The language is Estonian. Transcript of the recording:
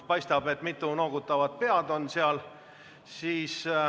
Paistab, et mitu noogutavat pead on seal.